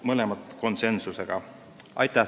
Aitäh teile!